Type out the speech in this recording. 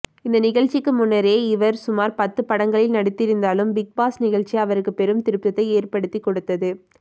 இந்த நிகழ்ச்சிக்கு முன்னரே இவர் சுமார் பத்து படங்களில் நடித்திருந்தாலும் பிக்பாஸ் நிகழ்ச்சி அவருக்கு பெரும் திருப்பத்தை ஏற்படுத்தி கொடுத்தது